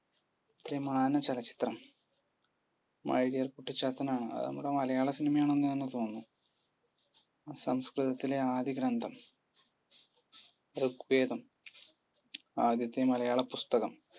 ത്രിമാന ചലച്ചിത്രം? my dear Kuttichathan ആണ്. നമ്മുടെ മലയാള cinema യാണെന്ന് തന്നെ തോന്നുന്നു. സംസ്‌കൃതത്തിലെ ആദ്യ ഗ്രന്ഥം? ഋഗ്വേദം. ആദ്യത്തെ മലയാള പുസ്തകം?